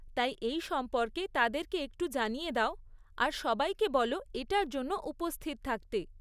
তাই এই সম্পর্কে তাদেরকে একটু জানিয়ে দাও আর সবাইকে বলো এটার জন্য উপস্থিত থাকতে।